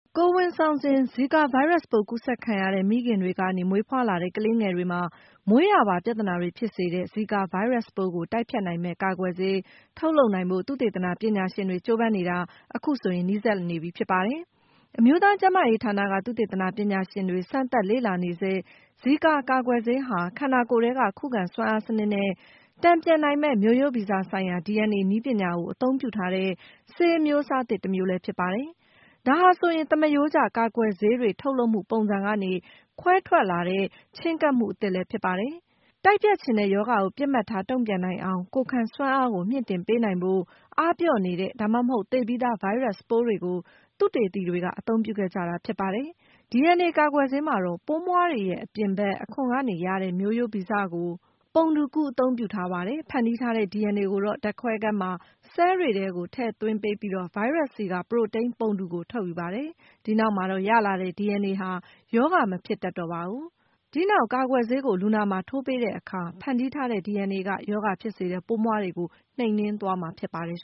ကိုယ်ဝန်ဆောင်စဉ် ဇီကာဗိုင်းရပ်စ်ပိုး ကူးစက်ခံရတဲ့ မိခင်တွေကနေ မွေးဖွားလာတဲ့ ကလေးငယ်တွေမှာ မွေးရာပါပြဿနာတွေ ဖြစ်စေတဲ့ ဇီကာ ဗိုင်းရပ်စ်ပိုးကို တိုက်ဖျက်နိုင်မယ့် ကာကွယ်ဆေး ထုတ်လုပ်နိုင်ဖို့ သုတေသနပညာရှင်တွေ ကြိုးပမ်းနေတာ နီးစပ်လာနေပြီ ဖြစ်ပါတယ်။ အမျိုးသားကျန်းမာရေးဌာနက သုတေသနပညာရှင်တွေ စမ်းသပ်လေ့လာနေဆဲ ဇီကာကာကွယ်ဆေးဟာ ခန္ဓာကိုယ်ထဲက ခုခံစွမ်းအားစနစ်နဲ့ တန်ပြန်နိုင်မယ့် မျိုးရိုးဗီဇဆိုင်ရာ DNA နည်းပညာကို အသုံးပြုထားတဲ့ ဆေးအမျိုးအစားသစ်တမျိုးလည်း ဖြစ်ပါတယ်။ ဒါဟာဆိုရင် သမရိုးကျ ကာကွယ်ဆေးတွေ ထုတ်လုပ်မှုပုံစံကနေ ခွဲထွက်လာတဲ့ ချဉ်းကပ်မှုအသစ်လည်း ဖြစ်ပါတယ်။ နှိမ်နင်းချင်တဲ့ရောဂါကို ပစ်မှတ်ထား တုံ့ပြန်နိုင်အောင် ကိုယ်ခံစွမ်းအားကို မြှင့်တင်ပေးနိုင်ဖို့ အားပျော့နေတဲ့ ဒါမှမဟုတ် သေပြီးသား ဗိုင်းရပ်စ်ပိုးတွေကို သုတေသီတွေ အသုံးပြုခဲ့ကြတာပါ။ DNA ကာကွယ်ဆေးမှာတော့ ပိုးမွှားတွေရဲ့ အပြင်ဘက်အခွံကရတဲ့ မျိုးဗီဇကို ပုံတူကူး အသုံးပြုထားပါတယ်။ ဖန်တီးထားတဲ့ DNA ကိုတော့ ဓာတ်ခွဲခန်းမှာ ဆဲလ်တွေထဲကို ထည့်သွင်းပေးပြီး၊ ဗိုင်းရပ်စ်ဆီက ပရိုတိန်းပုံတူကို ထုတ်ယူပါတယ်။ ဒီနောက်မှာတော့ ရလာတဲ့ DNA ဟာ ရောဂါမဖြစ်တတ်တော့ပါဘူး။ ဒီနောက် ကာကွယ်ဆေးကို လူနာမှာ ထိုးပေးတဲ့အခါမှာတော့ ဖန်တီးထားတဲ့ DNA က ရောဂါဖြစ်စေတဲ့ ပိုးမွှားတွေကို နှိမ်နင်းသွားမှာ ဖြစ်ပါတယ်